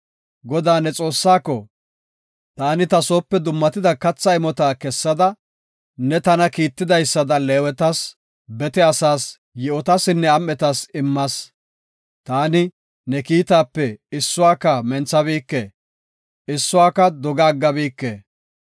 Godaa, ne Xoossaako, “Taani ta soope dummatida katha imota kessada, ne tana kiittidaysada Leewetas, bete asaas, yi7otasinne am7etas immas. Taani ne kiitaape issuwaka menthabike; issuwaka doga aggabike.